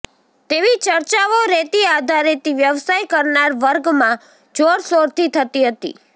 તેવી ચર્ચાઓ રેતી આધારિત વ્યવસાય કરનાર વર્ગમાં જોરશોરથી થતી હતી